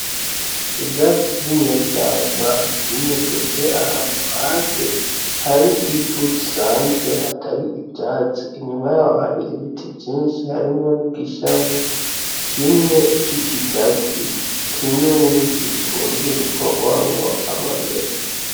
Ivyatsi vy'inyeshamba vyimejeje ahantu hasi hari ivu risanzwe hatari ivyatsi, inyuma yaho hari ibiti vyinshi, harimwo n'igishami kimwe c'ikigazi, kimwe mu biti gikunzwe gukorwamo amamesa.